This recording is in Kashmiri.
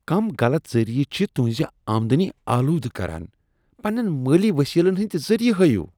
کٔم غلط ذٔریعہٕ چھ تہنٛز آمدٔنی آلودٕ کران؟ پنٛنیٚن مٲلی وسٲیلن ہنٛدۍ ذٔریعہٕ ہاو۔